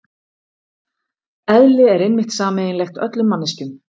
Eðli er einmitt sameiginlegt öllum manneskjum.